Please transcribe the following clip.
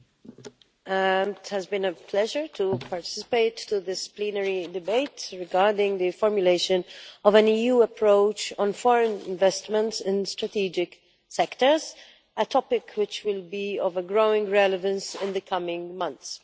Madam President, it has been a pleasure to participate in this plenary debate regarding the formulation of an EU approach on foreign investments in strategic sectors-a topic which will be of growing relevance in the coming months.